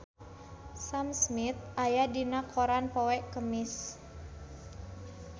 Sam Smith aya dina koran poe Kemis